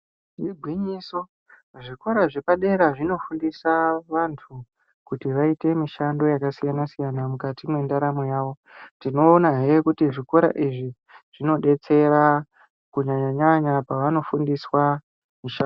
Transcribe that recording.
Igwinyiso zvikora zvepadera zvinofundisa vantu, kuti vaite mishando yakasiyana-siyana mukati mwendaramo yavo .Tinoonahe kuti zvikora izvi zvinodetsera kunyanya-nyanya pevanofundiswa mishando.